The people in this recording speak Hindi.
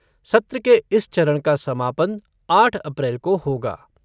सत्र के इस चरण का समापन आठ अप्रैल को होगा।